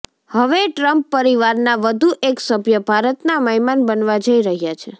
હવે ટ્રમ્પ પરિવારના વધુ એક સભ્ય ભારતના મહેમાન બનવા જઈ રહ્યાં છે